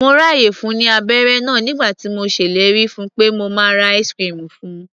Mo ráàyè fun ní abẹ́ré náà nígbà tí mo ṣellérí fun pé màá ra ice-cream fun.